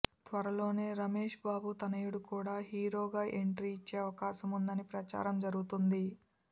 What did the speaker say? త్వరలోనే రమేష్బాబు తనయుడు కూడా హీరోగా ఎంట్రీ ఇచ్చే అవకాశం ఉందని ప్రచారం జరుగుతుంది